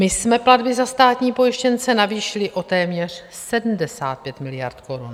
My jsme platbu za státní pojištěnce navýšili o téměř 75 miliard korun.